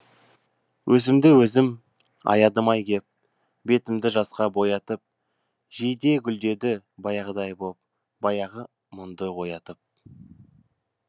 өзімді өзім аядым ай кеп бетімді жасқа боятып жиде гүлдеді баяғыдай боп баяғы мұңды оятып